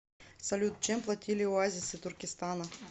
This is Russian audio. салют чем платили оазисы туркестана